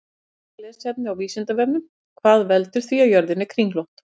Frekara lesefni á Vísindavefnum: Hvað veldur því að jörðin er kringlótt?